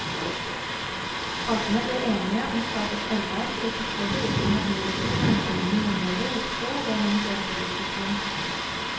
Partene ble enige om å starte et arbeid for å kartlegge hvilken verdiøkning eiendommene i området vil få ved en eventuell byutvikling.